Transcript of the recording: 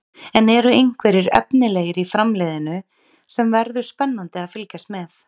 En eru einhverjir efnilegir í Framliðinu sem verður spennandi að fylgjast með?